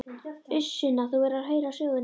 Uss Sunna, þú verður að heyra söguna!